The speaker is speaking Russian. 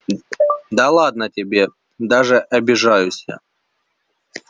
да ладно тебе даже обижаюсь я